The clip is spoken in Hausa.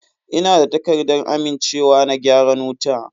Ina da takardar amincewa na gyaran wuta.